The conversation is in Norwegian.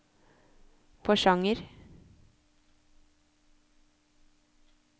Porsanger